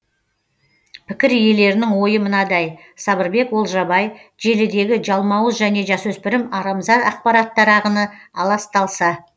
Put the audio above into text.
пікір иелерінің ойы мынадай сабырбек олжабай желідегі жалмауыз және жасөспірім арамза ақпараттар ағыны аласталса